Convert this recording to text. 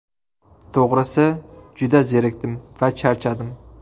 To‘g‘risi, juda zerikdim va charchadim.